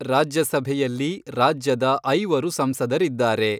ರಾಜ್ಯಸಭೆಯಲ್ಲಿ ರಾಜ್ಯದ ಐವರು ಸಂಸದರಿದ್ದಾರೆ.